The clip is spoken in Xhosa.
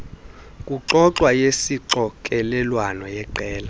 kuxoxwa yesixokelelwano yeqela